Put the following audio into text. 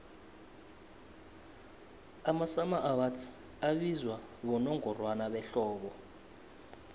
amasummer awards abizwa bonongorwana behlobo